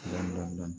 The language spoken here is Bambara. Dɔn